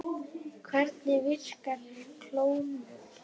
Hvernig virkar klónun?